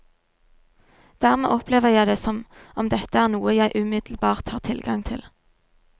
Dermed opplever jeg det som om dette er noe jeg umiddelbart har tilgang til.